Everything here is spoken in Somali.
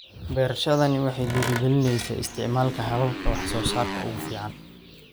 Beerashadani waxay dhiirigelinaysaa isticmaalka hababka wax soo saarka ugu fiican.